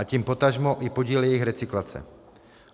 A tím potažmo i podíl jejich recyklace.